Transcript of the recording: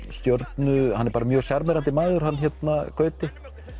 stjörnu hann er mjög sjarmerandi maður hann Gauti